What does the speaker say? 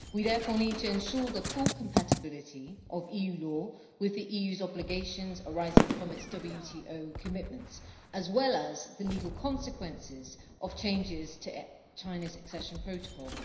We therefore need to ensure the full compatibility of EU law with the EU's obligations arising from its WTO commitments, as well as the legal consequences of changes to China's accession protocol.